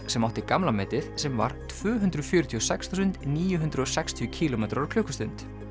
sem átti gamla metið sem var tvö hundruð fjörutíu og sex þúsund níu hundruð og sextíu kílómetrar á klukkustund